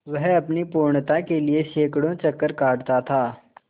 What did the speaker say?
वह अपनी पूर्णता के लिए सैंकड़ों चक्कर काटता था